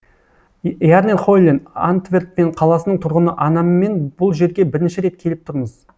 ярнер хойлен антверпен қаласының тұрғыны анаммен бұл жерге бірінші рет келіп тұрмыз